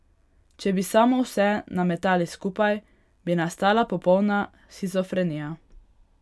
Če bi samo vse nametali skupaj, bi nastala popolna shizofrenija.